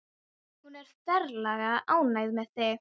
Hún er ferlega ánægð með þig.